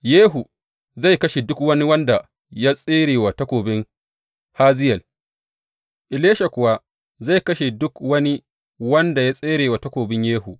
Yehu zai kashe duk wani wanda ya tsere wa takobin Hazayel, Elisha kuwa zai kashe duk wani wanda ya tsere wa takobin Yehu.